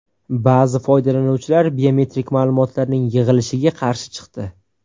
Ba’zi foydalanuvchilar biometrik ma’lumotlarning yig‘ilishiga qarshi chiqdi.